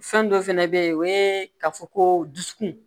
Fɛn dɔ fɛnɛ bɛ ye o ye ka fɔ ko dusukun